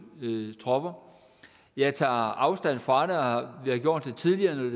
tropper jeg tager afstand fra det har gjort det tidligere